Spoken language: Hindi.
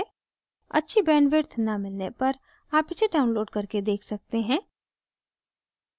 अच्छी bandwidth न मिलने पर आप इसे download करके देख सकते हैं